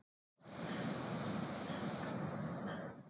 Svo þjálfum við hundana.